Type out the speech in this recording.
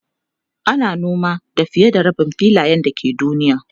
ana noma da fiye da Rabin filayen da ke duniya